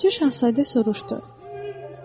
Balaca Şahzadə soruşdu.